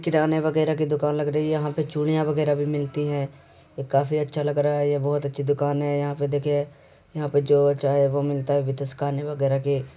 किराने वगेरा की दुकान लग रही यहां पे चूड़ियां वगेरा भी मिलती है ये काफी अच्छा लग रा है ये बोहोत अच्छी दुकान है यहा पे देखिए यहां पे जो चाहे वो मिलता है। वगेरा की --